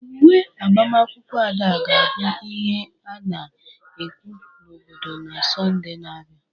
Uwe agbamakwụkwọ Ada ga-abụ ihe a na-ekwu n'obodo na Satọde na-abịa.